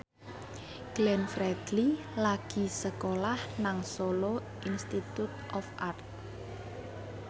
Glenn Fredly lagi sekolah nang Solo Institute of Art